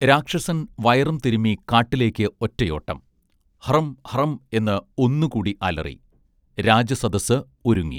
രാക്ഷസൻ വയറും തിരുമ്മി കാട്ടിലേക്ക് ഒറ്റയോട്ടം ഹ്റം ഹ്റം എന്ന് ഒന്നുകൂടി അലറി രാജസദസ്സ് ഒരുങ്ങി